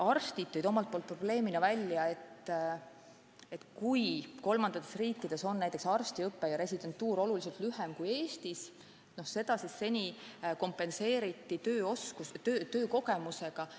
Arstid tõid omalt poolt probleemina välja, et kolmandates riikides on arstiõpe ja residentuur oluliselt lühemad kui Eestis ning seda on seni kompenseeritud töökogemusega.